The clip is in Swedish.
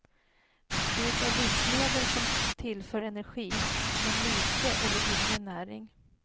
Det är livsmedel som tillför energi men lite eller ingen näring.